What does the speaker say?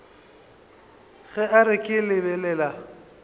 ge a re ke lebelela